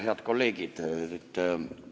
Head kolleegid!